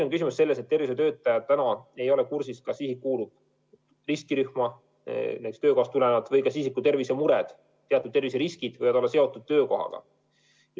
Küsimus on selles, et tervishoiutöötajad ei ole praegu kursis, kas isik kuulub riskirühma töökohast tulenevalt või kas isiku tervisemured ja teatud terviseriskid võivad olla seotud töökohaga.